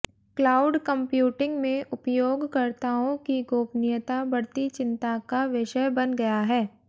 cloud computing में उपयोगकर्ताओं की गोपनीयता बढ़ती चिंता का विषय बन गया है